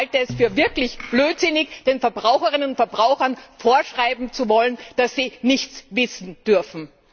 Ich halte es für wirklich blödsinnig, den Verbraucherinnen und Verbrauchern vorschreiben zu wollen, dass sie nichts wissen dürfen.